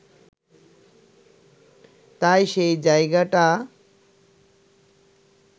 তাই সেই জায়গাটা